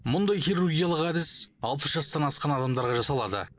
мұндай хирургиялық әдіс алпыс жастан асқан адамдарға жасалады